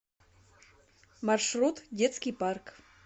маршрут детский парк